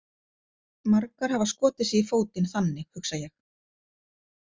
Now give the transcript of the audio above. Margar hafa skotið sig í fótinn þannig, hugsa ég.